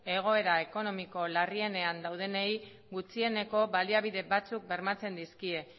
egoera ekonomiko larrienean daudenei gutxieneko baliabide batzuk bermatzen dizkie